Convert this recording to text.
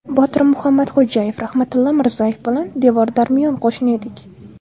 Botir Muhammadxo‘jayev: Rahmatilla Mirzayev bilan devor-darmiyon qo‘shni edik.